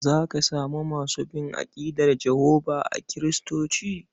Za ka samu masu bin aƙidar Jehovah a Kiristoci.